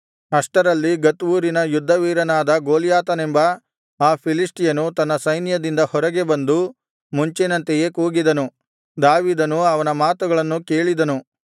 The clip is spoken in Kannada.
ಅಷ್ಟರಲ್ಲಿ ಗತ್ ಊರಿನ ಯುದ್ಧವೀರನಾದ ಗೊಲ್ಯಾತನೆಂಬ ಆ ಫಿಲಿಷ್ಟಿಯನು ತನ್ನ ಸೈನ್ಯದಿಂದ ಹೊರಗೆ ಬಂದು ಮುಂಚಿನಂತೆಯೇ ಕೂಗಿದನು ದಾವೀದನು ಅವನ ಮಾತುಗಳನ್ನು ಕೇಳಿದನು